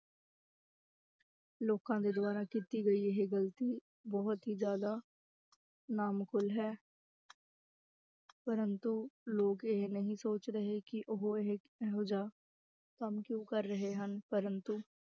ਲੋਕਾਂ ਦੇ ਦੁਆਰਾ ਕੀਤੀ ਗਈ ਇਹ ਗ਼ਲਤੀ ਬਹੁਤ ਹੀ ਜ਼ਿਆਦਾ ਨਾਮਕੂਲ ਹੈ ਪ੍ਰੰਤੂ ਲੋਕ ਇਹ ਨਹੀਂ ਸੋਚ ਰਹੇ ਕਿ ਉਹ ਇਹ ਇਹੋ ਜਿਹਾ ਕੰਮ ਕਿਉਂ ਕਰ ਰਹੇ ਹਨ ਪ੍ਰੰਤੂ